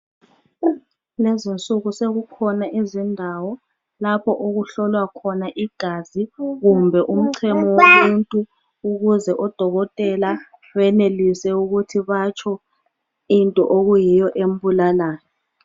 Lezi nsuku sekukhona iziñdawo lapho okuhlolwa khona igazi kumbe umchemo womuntu ukuze odokotela benelise ukuthi batsho into okuyiyo embulalayo.